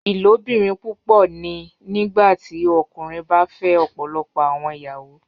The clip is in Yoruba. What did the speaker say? Ilobirin pupọ ni nigbati ọkunrin ba fẹ ọpọlọpọ awọn iyawo